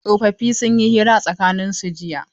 Tsofaffi sun yi hira a tsakanin su jiya.